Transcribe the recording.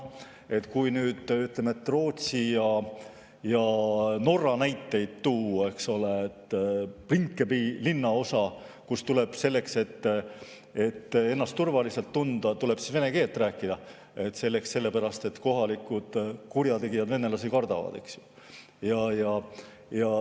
Kui Rootsist või Norrast näiteid tuua, siis Rinkeby linnaosas tuleb selleks, et ennast turvaliselt tunda, vene keelt rääkida, sellepärast et kohalikud kurjategijad kardavad venelasi.